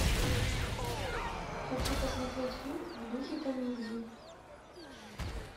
хочу посмотреть фильм в духе комедии